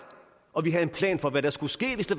og vi havde en plan for hvad der skulle ske hvis det